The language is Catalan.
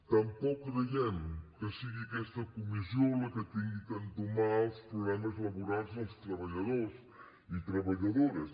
tampoc creiem que sigui aquesta comissió la que hagi d’entomar els problemes laborals dels treballadors i treballadores